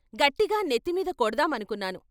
గట్టిగా నెత్తిమీద కొడదామనుకున్నాను.